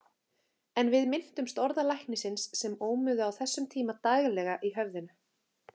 En við minntumst orða læknisins sem ómuðu á þessum tíma daglega í höfðinu.